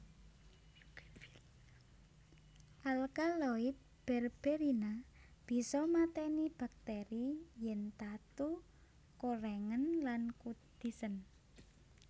Alkaloid berberina bisa matèni bakteri yèn tatu korèngen lan kudisen